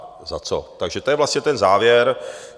Takže to je vlastně ten závěr.